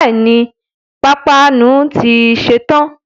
Bẹ́ẹ̀ni, pápánu ti ṣe tán